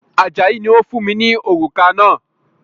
Ajayi ni ó fún mi ní òrùka náà